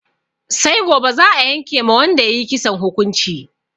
Sai gobe za'a yanke ma wanda ya yi kisan hukunci.